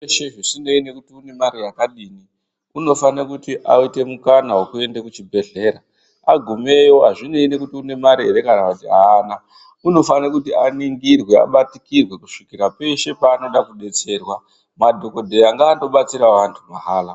Muntu veshe zvisinei nekuti unemari yakadini unofanire kuti aite mukana vekuenda kuchibhedhlera. Agumeyo hazvinei nekuti une mare ere kana kuti haana unofanira kuti aningirwe abatikirwe kusvikapeshe paanoda kubetserwa, madhogodheya ngandobatsiravo antu mahala.